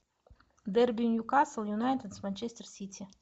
дерби ньюкасл юнайтед с манчестер сити